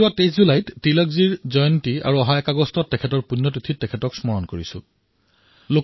আমি ২৩ জুলাইত তিলক জয়ন্তী আৰু ০১ আগষ্টত তেওঁৰ পুণ্যতিথিত তেওঁক স্মৰণ কৰোঁ